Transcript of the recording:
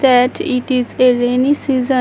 At it is a rainy season.